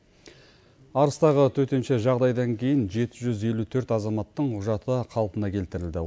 арыстағы төтенше жағдайдан кейін жеті жүз елу төрт азаматтың құжаты қалпына келтірілді